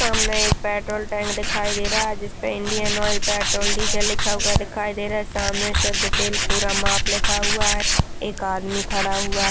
सामने एक petrol tank दिखाई दे रहा है जिसमें इंडियन ऑइल पेट्रोल डीजल लिखा हुआ दिखाई दे रहा है सामने शुद्ध तेल पूरा माफ़ लिखा हुआ है एक आदमी खड़ा हुआ --